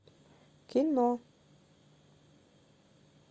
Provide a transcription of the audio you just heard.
кино